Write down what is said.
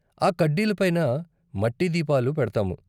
ఆ కడ్డీల పైన మట్టి దీపాలు పెడతాము.